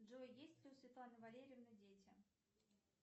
джой есть ли у светланы валерьевны дети